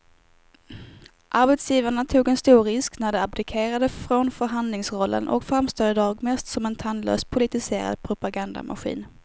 Arbetsgivarna tog en stor risk när de abdikerade från förhandlingsrollen och framstår i dag mest som en tandlös politiserad propagandamaskin.